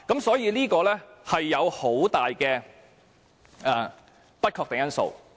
所以，當中存在很多不確定因素。